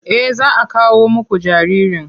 Eh za a kawo muku jaririn.